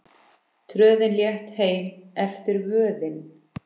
Tröðin létt heim eftir vöðin.